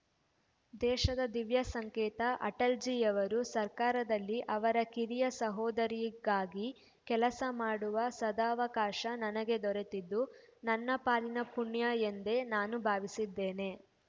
ದೇಶದ ದಿವ್ಯ ಸಂಕೇತ ಅಟಲ್‌ಜೀಯವರ ಸರ್ಕಾರದಲ್ಲಿ ಅವರ ಕಿರಿಯ ಸಹೋದರಿಗಾಗಿ ಕೆಲಸ ಮಾಡುವ ಸದವಕಾಶ ನನಗೆ ದೊರೆತಿದ್ದು ನನ್ನ ಪಾಲಿನ ಪುಣ್ಯ ಎಂದೇ ನಾನು ಭಾವಿಸಿದ್ದೇನೆ